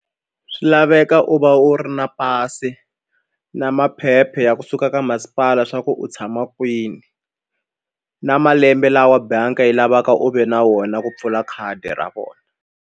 Swi laveka u va u ri na pasi na maphepha ya kusuka ka masipala swa ku u tshama kwini na malembe lawa bangi yi lavaka u ve na wona ku pfula khadi ra vona.